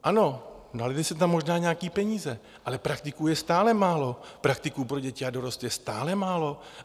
Ano, nalily se tam možná nějaké peníze, ale praktiků je stále málo, praktiků pro děti a dorost je stále málo.